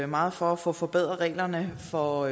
meget for at få forbedret reglerne for